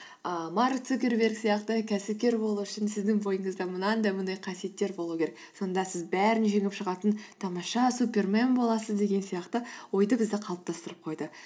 ыыы марк цукерберг сияқты кәсіпкер болу үшін сіздің бойыңызда мынандай мынандай қасиеттер болу керек сонда сіз бәрін жеңіп шығатын тамаша супермен боласыз деген сияқты ойды бізде қалыптастырып қойды